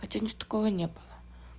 хотя у нас такого не было